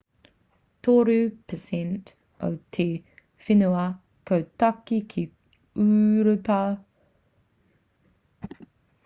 3% o te whenua ko tāke ki ūropa ko thace ki te rāwhiti ko rumelia ki te kūrae o balkan rānei